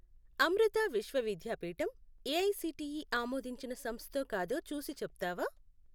Amrita Vishwa Vidyapeetham AICTE ఆమోదించిన సంస్థో కాదో చూసి చెప్తావా?